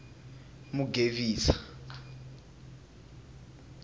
mugevisa